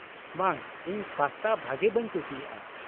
-ᱵᱟᱝ, ᱤᱧ ᱯᱟᱥᱛᱟ ᱵᱷᱟᱜᱮ ᱵᱟᱹᱧ ᱠᱩᱥᱤᱭᱟᱜᱼᱟ ᱾